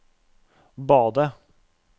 badet